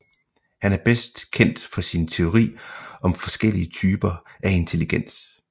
Han er bedst kendt for sin teori om forskellige typer af intelligens